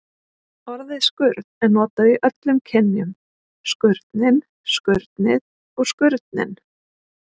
Orðið skurn er notað í öllum kynjum: skurnin, skurnið og skurninn.